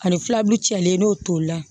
Ani filaburu cɛlen n'o toli la